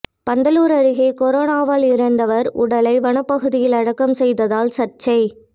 பந்தலூர் அருகே கொரோனாவால் இறந்தவர் உடலை வனப்பகுதியில் அடக்கம் செய்ததால் சர்ச்சை